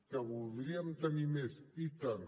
que voldríem tenir més i tant